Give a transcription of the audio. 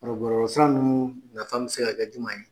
O san nunnu na ta bɛ se ka kɛ jumɛn ye?